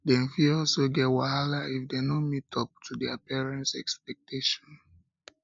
dem fit also get wahala if dem no meet up to their parents expectation